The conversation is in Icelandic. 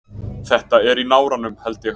Þetta er í náranum held ég.